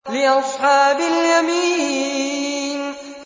لِّأَصْحَابِ الْيَمِينِ